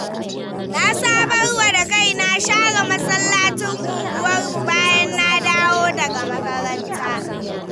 Na sabarwa da kaina share masallacin unguwarmu bayan na dawo daga makaranta.